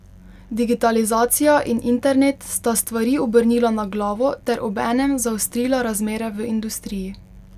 Digitalizacija in internet sta stvari obrnila na glavo ter obenem zaostrila razmere v industriji.